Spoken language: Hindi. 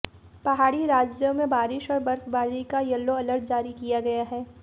पहाड़ी राज्यों में बारिश और बर्फबारी का यलो अलर्ट जारी किया गया है